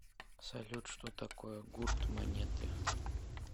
салют что такое гурт монеты